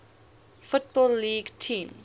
football league teams